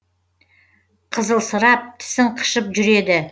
қызылсырап тісің қышып жүр еді